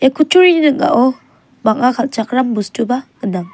ia kutturi ning·ao bang·a kal·chakram bostuba gnang.